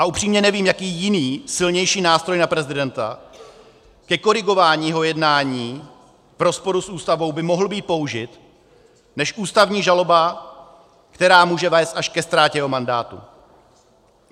A upřímně, nevím, jaký jiný silnější nástroj na prezidenta ke korigování jeho jednání v rozporu s Ústavou by mohl být použit než ústavní žaloba, která může vést až ke ztrátě jeho mandátu.